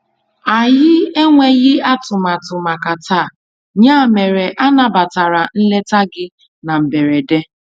Anyị enweghị atụmatụ màkà taa, ya mere anabatara nleta gị na mberede.